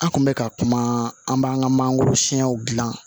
An kun bɛ ka kuma an b'an ka mangoro siyɛnw dilan